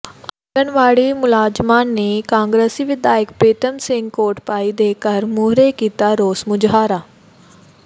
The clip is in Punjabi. ਆਂਗਣਵਾੜੀ ਮੁਲਾਜ਼ਮਾਂ ਨੇ ਕਾਂਗਰਸੀ ਵਿਧਾਇਕ ਪ੍ਰੀਤਮ ਸਿੰਘ ਕੋਟਭਾਈ ਦੇ ਘਰ ਮੂਹਰੇ ਕੀਤਾ ਰੋਸ ਮੁਜ਼ਾਹਰਾ